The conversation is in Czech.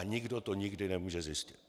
A nikdo to nikdy nemůže zjistit.